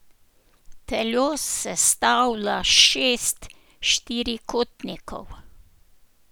Telo sestavlja šest štirikotnikov.